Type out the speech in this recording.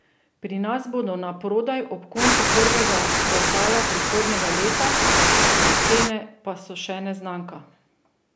Pri nas bodo naprodaj ob koncu prvega kvartala prihodnjega leta, cene pa so še neznanka.